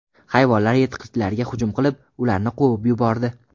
Hayvonlar yirtqichlarga hujum qilib, ularni quvib yubordi.